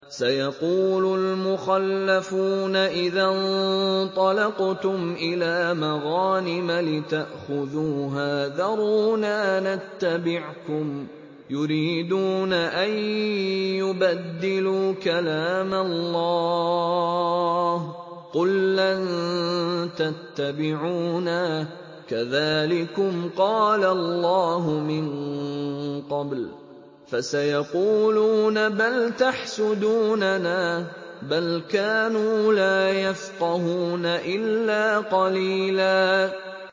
سَيَقُولُ الْمُخَلَّفُونَ إِذَا انطَلَقْتُمْ إِلَىٰ مَغَانِمَ لِتَأْخُذُوهَا ذَرُونَا نَتَّبِعْكُمْ ۖ يُرِيدُونَ أَن يُبَدِّلُوا كَلَامَ اللَّهِ ۚ قُل لَّن تَتَّبِعُونَا كَذَٰلِكُمْ قَالَ اللَّهُ مِن قَبْلُ ۖ فَسَيَقُولُونَ بَلْ تَحْسُدُونَنَا ۚ بَلْ كَانُوا لَا يَفْقَهُونَ إِلَّا قَلِيلًا